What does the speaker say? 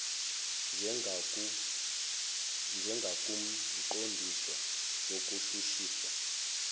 njengakumqon disi wokushushiswa